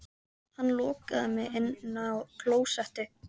Hann lokaði mig inni á klósetti